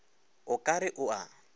o ka re o a